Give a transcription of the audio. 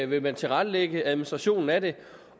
vil tilrettelægge administrationen af det